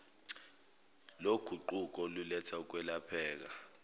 loguquko oluletha ukwelapheka